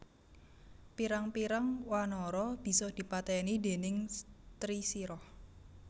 Pirang pirang wanara bisa dipatèni déning Trisirah